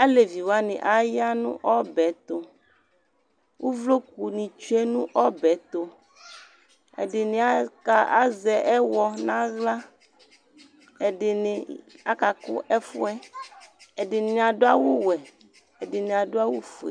Alevi wanɩ aya nʋ ɔbɛ yɛ tʋ Uvlokunɩ tsue nʋ ɔbɛ yɛ tʋ Ɛdɩnɩ aka azɛ ɛɣɔ nʋ aɣla, ɛdɩnɩ akakʋ ɛfʋ yɛ Ɛdɩnɩ adʋ awʋwɛ, ɛdɩnɩ adʋ awʋfue